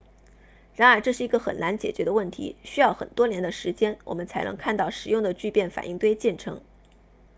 然而这是一个很难解决的问题需要很多年的时间我们才能看到实用的聚变反应堆建成